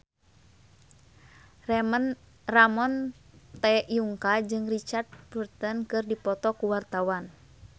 Ramon T. Yungka jeung Richard Burton keur dipoto ku wartawan